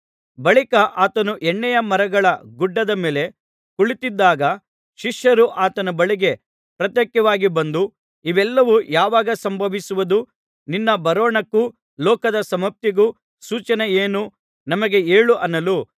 ಬಳಿಕ ಆತನು ಎಣ್ಣೆಯ ಮರಗಳ ಗುಡ್ಡದ ಮೇಲೆ ಕುಳಿತಿದ್ದಾಗ ಶಿಷ್ಯರು ಆತನ ಬಳಿಗೆ ಪ್ರತ್ಯೇಕವಾಗಿ ಬಂದು ಇವೆಲ್ಲವೂ ಯಾವಾಗ ಸಂಭವಿಸುವುದು ನಿನ್ನ ಬರೋಣಕ್ಕೂ ಲೋಕದ ಸಮಾಪ್ತಿಗೂ ಸೂಚನೆಯೇನು ನಮಗೆ ಹೇಳು ಅನ್ನಲು